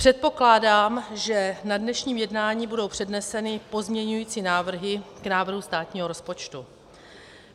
Předpokládám, že na dnešním jednání budou předneseny pozměňovací návrhy k návrhu státního rozpočtu.